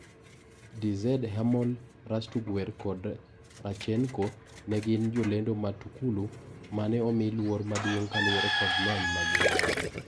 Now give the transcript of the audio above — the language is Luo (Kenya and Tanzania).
Dz-hermal Rastoguer kod Rachenko ne gin jolendo matukulu mane omi luor madung' kaluore kod lony magingodo.